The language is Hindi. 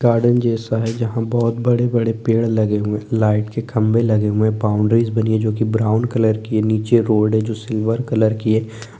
गार्डन जैसा है जहाँ बहुत बड़े-बड़े पेड़ लगे हुए लाइट के खंभे लगे हुए है बाउंड्रीज बनी है जो ब्राउन कलर की है नीचे रोड है जो सिल्वर कलर की है।